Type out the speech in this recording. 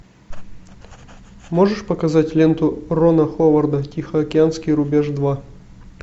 можешь показать ленту рона ховарда тихоокеанский рубеж два